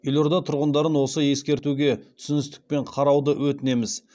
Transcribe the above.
елорда тұрғындарын осы ескертуге түсіністікпен қарауды өтінеміз